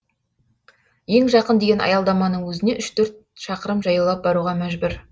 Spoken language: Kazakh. ең жақын деген аялдаманың өзіне үш төрт шақырым жаяулап баруға мәжбүр